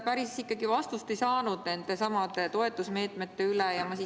Päris vastust nendesamade toetusmeetmete kohta ei saanud.